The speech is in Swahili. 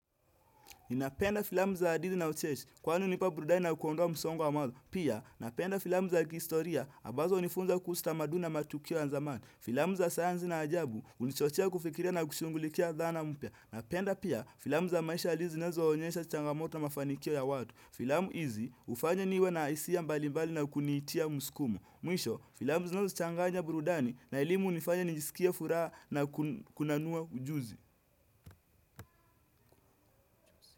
Ninapenda filamu za adithi na ucheshi, kwani unipa burudani na kuondoa msongo wa mawazo. Pia, napenda filamu za kihistoria, abazo unifunza kuhusu tamaduni matukio ya nzamani. Filamu za sayanzi na ajabu, unichochea kufikiria na kushungulikia dhana mpya. Napenda pia, filamu za maisha ya juzi nazo onyesha changamoto na mafanikio ya watu. Filamu izi, ufanya niwe na isia mbalimbali na kunitia muskumo. Mwisho, filamu zinazo changanya burudani na elimu unifanya nijisikie furaha na kunanua ujuzi.